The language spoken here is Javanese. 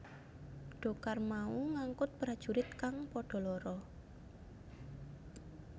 Dhokar mau ngangkut prajurit kang padha lara